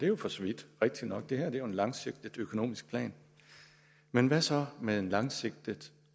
jo for så vidt rigtigt nok at det her er en langsigtet økonomisk plan men hvad så med en langsigtet